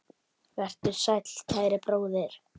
Vertu sæll, kæri bróðir.